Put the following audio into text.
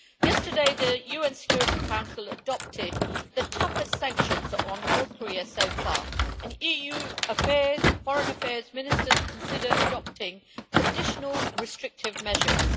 Yesterday the UN Security Council adopted the toughest sanctions on North Korea so far, and EU Foreign Affairs Ministers consider adopting additional restrictive measures.